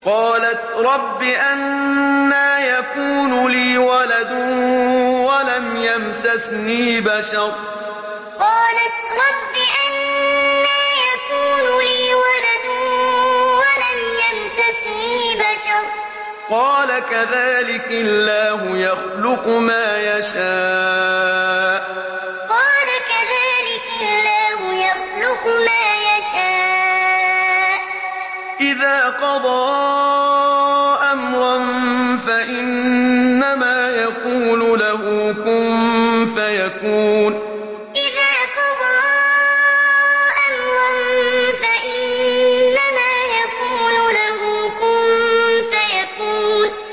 قَالَتْ رَبِّ أَنَّىٰ يَكُونُ لِي وَلَدٌ وَلَمْ يَمْسَسْنِي بَشَرٌ ۖ قَالَ كَذَٰلِكِ اللَّهُ يَخْلُقُ مَا يَشَاءُ ۚ إِذَا قَضَىٰ أَمْرًا فَإِنَّمَا يَقُولُ لَهُ كُن فَيَكُونُ قَالَتْ رَبِّ أَنَّىٰ يَكُونُ لِي وَلَدٌ وَلَمْ يَمْسَسْنِي بَشَرٌ ۖ قَالَ كَذَٰلِكِ اللَّهُ يَخْلُقُ مَا يَشَاءُ ۚ إِذَا قَضَىٰ أَمْرًا فَإِنَّمَا يَقُولُ لَهُ كُن فَيَكُونُ